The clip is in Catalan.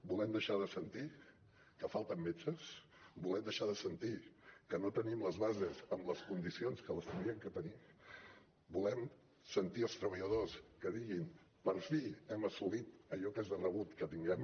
volem deixar de sentir que falten metges volem deixar de sentir que no tenim les bases en les condicions en què les hauríem de tenir volem sentir els treballadors que diguin per fi hem assolit allò que és de rebut que tinguem